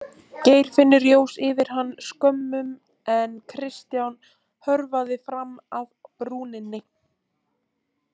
Geirfinnur jós yfir hann skömmum en Kristján hörfaði fram að brúninni.